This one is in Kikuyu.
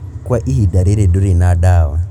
Kwa ihinda rĩrĩ, ndũrĩ na ndawa